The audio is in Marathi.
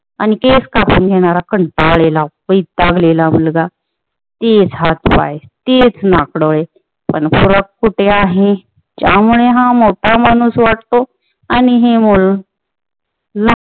आणि केस कापून घेणारा कंटाळलेला वैतागलेला मुलगा तेच हातपाय तेच नाक डोळे पण फरक कुठे आहे ज्यामुळे हा मोठा माणुस वाटतो आणि ही मुल